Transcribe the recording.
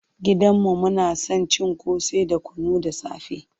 Gidan mu muna son cin ƙosai da kunu da safe.